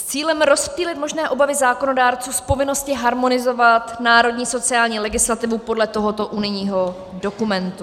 S cílem rozptýlit možné obavy zákonodárců z povinnosti harmonizovat národní sociální legislativu podle tohoto unijního dokumentu.